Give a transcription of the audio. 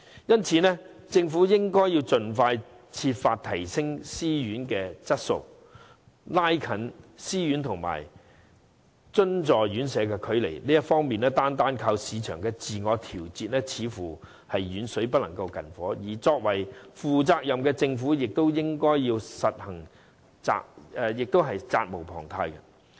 因此，政府應盡快設法提升私營院舍的質素，拉近私營院舍和津助院舍的距離，這方面單靠市場自我調節似乎是遠水不能救近火，而作為負責任的政府，實在責無旁貸。